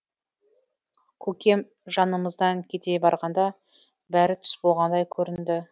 көкем жанымыздан кете барғанда бәрі түс болғандай көрінді